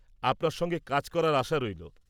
আপনার সঙ্গে কাজ করার আশা রইল।